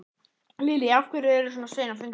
Lillý: Af hverju eru þið svona sein á fundin?